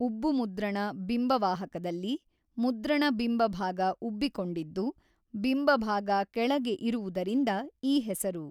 ಉಬ್ಬುಮುದ್ರಣ ಬಿಂಬವಾಹಕದಲ್ಲಿ ಮುದ್ರಣ ಬಿಂಬಭಾಗ ಉಬ್ಬಿ ಕೊಂಡಿದ್ದು ಬಿಂಬಭಾಗ ಕೆಳಗೆ ಇರುವುದರಿಂದ ಈ ಹೆಸರು.